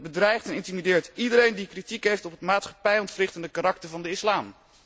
Hij bedreigt en intimideert iedereen die kritiek heeft op het maatschappij ontwrichtende karakter van de islam.